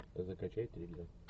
закачай триллер